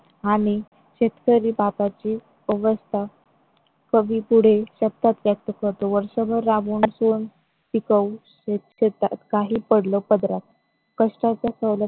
आणि शेतकरी बापाची अवस्था. कवी पुढे सप्तकात वर्षभर राबून शेतात काही पडलं पदरात कष्टाच्या सवल